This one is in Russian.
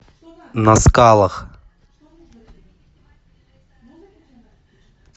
на скалах